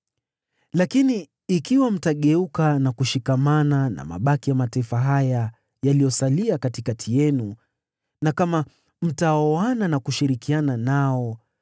“Lakini ikiwa mtageuka na kushikamana na mabaki ya mataifa haya yaliyosalia katikati yenu na kama mtaoana na kushirikiana nao,